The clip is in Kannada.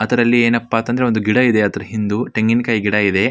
ಅದರಲ್ಲಿ ಏನಪ್ಪಾ ಆತ್ ಅಂದ್ರೆ ಒಂದು ಗಿಡ ಇದೆ ಅದರ ಹಿಂದೂ ತೆಂಗಿನ ಕಾಯಿ ಗಿಡ ಇದೆ.